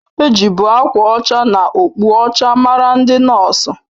Ejibu akwa ọcha na okpu ọcha mara ndị nọọsu